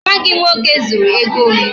Nwa gị nwoke zuru ego m